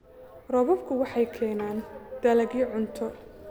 Roobabku waxay keenaan dalagyo cunto